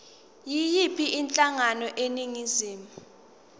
yiyiphi inhlangano eningizimu